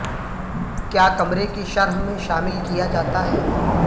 کیا کمرے کی شرح میں شامل کیا جاتا ہے